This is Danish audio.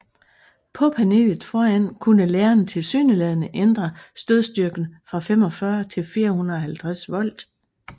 På panelet foran kunne læreren tilsyneladende ændre stødstyrken fra 45 til 450 volt